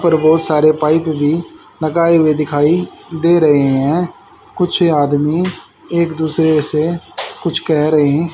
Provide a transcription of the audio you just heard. उपर बहोत सारे पाइप भी लगाए हुए दिखाई दे रहे हैं कुछ आदमी एक दूसरे से कुछ कह रहें--